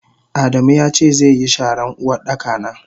Adamu yace zeyi sharan Uwardaka na.